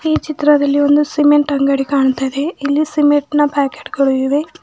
ಈ ಚಿತ್ರದಲ್ಲಿ ಒಂದು ಸಿಮೆಂಟ್ ಅಂಗಡಿ ಕಾಣ್ತಾ ಇದೆ ಇಲ್ಲಿ ಸಿಮೆಂಟ್ ನ ಪ್ಯಾಕೆಟ್ ಗಳು ಇವೆ.